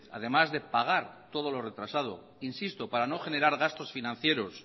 además de pagar todo lo retrasado insisto para no generar gastos financieros